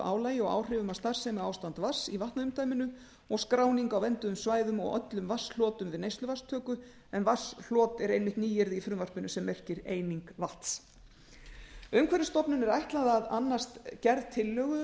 álagi og áhrifum af starfsemi ástands vatns í vatnaumdæminu og skráning á vernduðum svæðum og öllum vatnshlotum við neysluvatnstöku en vatnshlot er einmitt nýyrði í frumvarpinu sem merkir eining vatns umhverfisstofnun er ætlað að annast gerð tillögu